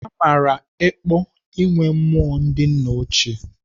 Amaara ekpo inwe mmụọ ndị nna ochie.